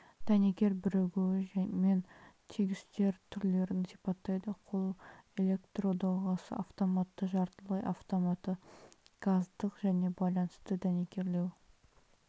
дәнекер бірігуі мен тігістер түрлерін сипаттайды қол электрдоғасы автоматты жартылай автоматы газдық және байланысты дәнекерлеу